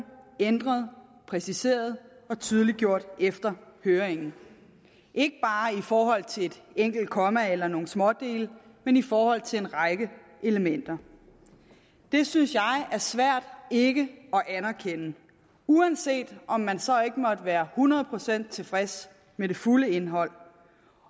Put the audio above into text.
ændret præciseret og tydeliggjort efter høringen ikke bare i forhold til et enkelt komma eller nogle smådele men i forhold til en række elementer det synes jeg er svært ikke at anerkende uanset om man så ikke måtte være hundrede procent tilfreds med det fulde indhold